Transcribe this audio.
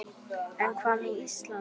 En hvað með Ísland?